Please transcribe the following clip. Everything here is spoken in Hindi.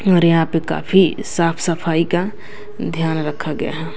और यहाँ पे काफी साफ सफाई का ध्यान रखा गया है।